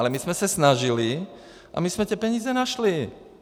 Ale my jsme se snažili a my jsme ty peníze našli.